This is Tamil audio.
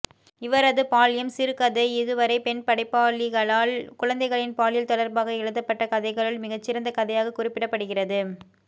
இவரது பால்யம் சிறுகதை இதுவரை பெண்படைப்பாளிகளால் குழந்தைகளின் பாலியல் தொடர்பாக எழுதப்பட்ட கதைகளுள் மிகச்சிறந்த கதையாகக் குறிப்பிடப்படுகிறது